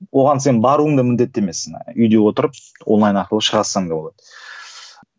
оған сен баруың да міндетті емессің үйде отырып онлайн арқылы шыға салсаң да болады